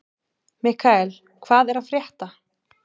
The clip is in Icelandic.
Mikkael, hvað er að frétta?